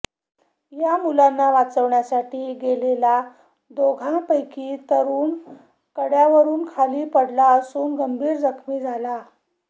या मुलांना वाचविण्यासाठी गेलेला दोघा पैकी तरूण कड्यावरून खाली पडला असून गंभीर जखमी झाला